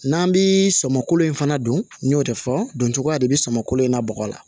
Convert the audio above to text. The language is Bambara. N'an bi sɔmin in fana don n y'o de fɔ don cogo ya de be samako in na bɔgɔ la